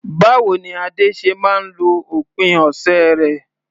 Báwo ni Ade ṣe máa ń lo òpin ọ̀sẹ̀ rẹ̀?